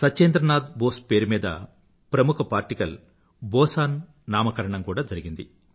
సత్యేంద్రనాథ్ బోస్ పేరు మీద ప్రముఖ పార్టికల్ బోసన్ నామకరణం కూడా జరిగింది